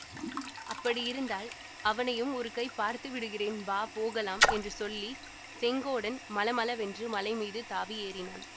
அப்படியிருந்தால் அவனையும் ஒரு கை பார்த்து விடுகிறேன் வா போகலாம் என்று சொல்லி செங்கோடன் மளமளவென்று மலைமீது தாவி ஏறினான்